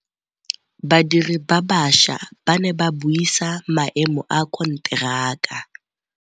Badiri ba baša ba ne ba buisa maêmô a konteraka.